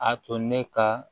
A to ne ka